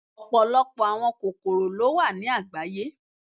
Ọpọlọpọ awọn kokoro lo wa ni agbaye